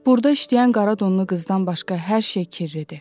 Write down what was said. Burda işləyən qara donlu qızdan başqa hər şey kirridir.